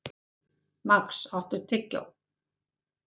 Max, áttu tyggjó?